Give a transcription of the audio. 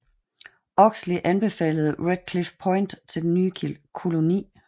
Oxley anbefalede Red Cliff Point til den nye koloni